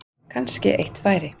Kannski eitt færi.